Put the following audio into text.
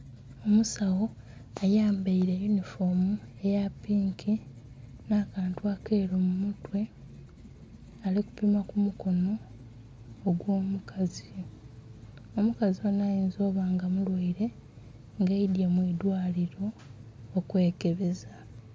Omusawo ayambaile eyunifomu eya pinki nh'akantu akeeru mu mutwe ali kupima ku mukono ogw'omukazi. Omukazi onho ayinza oba nga mulwaile nga aidhye mu idhwaliro okwekebeza